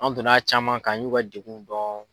An donna caman kan an y'u ka degun dɔn.